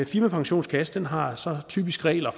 firmapensionskasse har så typisk regler